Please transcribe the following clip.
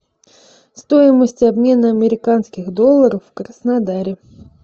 стоимость обмена американских долларов в краснодаре